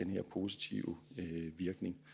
her positive virkning